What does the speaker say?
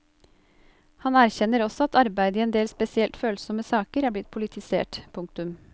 Han erkjenner også at arbeidet i en del spesielt følsomme saker er blitt politisert. punktum